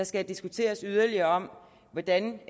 skal diskuteres yderligere hvordan